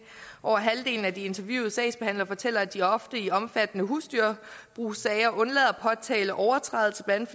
over halvdelen af de interviewede sagsbehandlere fortæller at de ofte i omfattende husdyrbrugssager undlader at påtale overtrædelser blandt